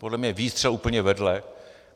Podle mě výstřel úplně vedle.